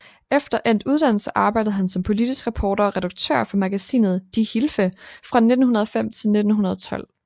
Efter endt uddannelse arbejdede han som politisk reporter og redaktør for magasinet Die Hilfe fra 1905 til 1912